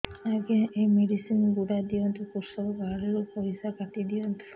ଆଜ୍ଞା ଏ ମେଡିସିନ ଗୁଡା ଦିଅନ୍ତୁ କୃଷକ କାର୍ଡ ରୁ ପଇସା କାଟିଦିଅନ୍ତୁ